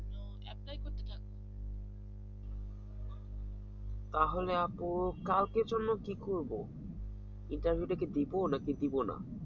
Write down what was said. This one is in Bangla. তাহলে আপু কালকে চললে কি করব interview টাকি দিব নাকি দিব না